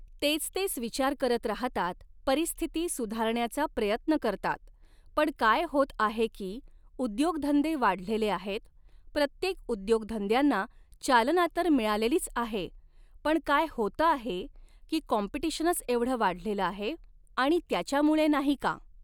तेच तेच विचार करत राहतात परिस्थिती सुधारण्याचा प्रयत्न करतात पण काय होत आहे की उद्योगधंदे वाढलेले आहेत प्रत्येक उद्योगधंद्यांना चालना तर मिळालेलीच आहे पण काय होतं आहे की कॉम्पिटिशनच एवढं वाढलेलं आहे आणि त्याच्यामुळे नाही का